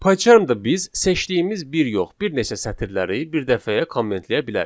Pycharmda biz seçdiyimiz bir yox, bir neçə sətirləri birdəfəyə kommentləyə bilərik.